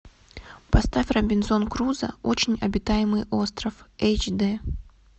поставь робинзон крузо очень обитаемый остров эйч дэ